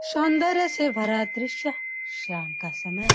सौंदर्य से भरा द्रिश्य शाम का समय --